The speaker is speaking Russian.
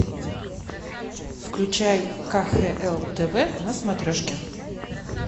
включай кхл тв на смотрешке